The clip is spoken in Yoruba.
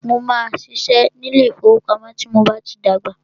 Mó máà ṣiṣẹ́ ní ilé ìfọwọ́pamo tí mo bá tí dàgbà.